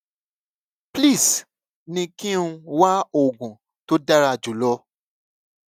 please ní kí n wá oògùn tó dára jù lọ